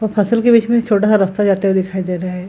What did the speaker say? और फसल के बीच में एक छोटा-सा रास्ता जाता हुआ दिखाई दे रहा है।